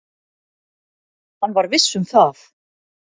Hann var viss um það.